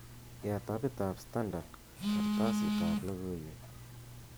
yaat apit ab standard kartasit ab logoiwek